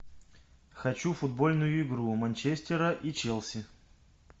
хочу футбольную игру манчестера и челси